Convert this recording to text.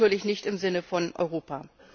Das ist natürlich nicht im Sinne von Europa.